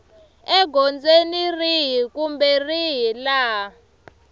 egondzweni rihi kumbe rihi laha